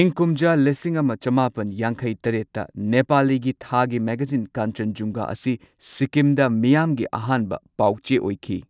ꯏꯪ ꯀꯨꯝꯖꯥ ꯂꯤꯁꯤꯡ ꯑꯃ ꯆꯃꯥꯄꯟ ꯌꯥꯡꯈꯩ ꯇꯔꯦꯠꯇ ꯅꯦꯄꯥꯂꯤꯒꯤ ꯊꯥꯒꯤ ꯃꯦꯒꯥꯖꯤꯟ ꯀꯥꯟꯆꯦꯟꯖꯨꯡꯒ ꯑꯁꯤ ꯁꯤꯛꯀꯤꯝꯗ ꯃꯤꯌꯥꯝꯒꯤ ꯑꯍꯥꯟꯕ ꯄꯥꯎ ꯆꯦ ꯑꯣꯏꯈꯤ꯫